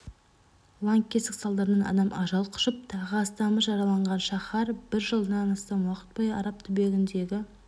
лаңкестік салдарынан адам ажал құшып тағы астамы жараланған шаһар бір жылдан астам уақыт бойы араб түбегіндегі